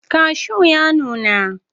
Kashu ya nuna.